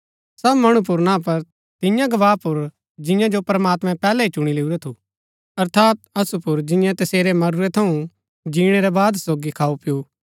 सब मणु पुर ना पर तियां गवाह पुर जिंआं जो प्रमात्मैं पैहलै ही चुणी लैऊरा थु अर्थात असु पुर जिन्यैं तसेरै मरूरै थऊँ जिणै रै बाद सोगी खाऊपिऊ